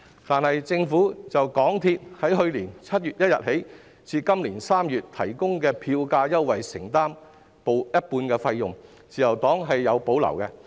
但是，政府就港鐵公司自去年7月1日至今年3月提供的票價優惠承擔一半費用，自由黨對此有所保留。